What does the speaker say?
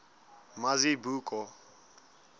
mazibuko